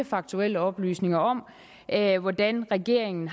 faktuelle oplysninger om at regeringen regeringen